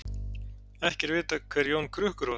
ekki er vitað hver jón krukkur var